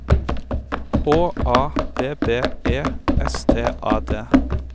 H A B B E S T A D